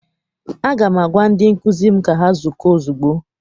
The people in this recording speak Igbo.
Aga m agwa ndị nkụzi m ka ha zukọọ ozugbo!